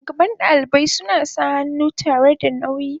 shugaban dalibai suna sa hannu tare da nauyi.